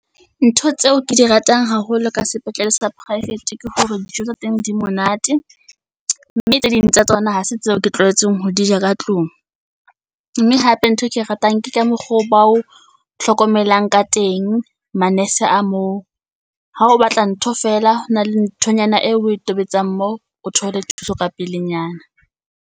Ntho tseo ke di ratang haholo ka sepetlele sa poraefete ke hore dijo tsa teng di monate. Mme tse ding tsa tsona ha se tseo ke tlwaetseng ho di ja ka tlung. Mme hape ntho e ke ratang ke ka mokgwa oo ba o hlokomelang ka teng manese a moo. Ha o batla ntho fela, ho na le nthonyana eo o tobetsa moo o thole thuso ka pelenyana.